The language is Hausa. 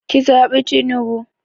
Ki zaɓi tinubu